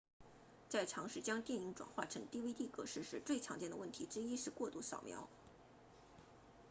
在尝试将电影转换成 dvd 格式时最常见的问题之一是过度扫描